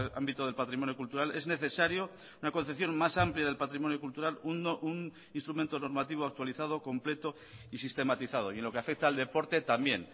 ámbito del patrimonio cultural es necesario una concepción más amplia del patrimonio cultural un instrumento normativo actualizado completo y sistematizado y en lo que afecta al deporte también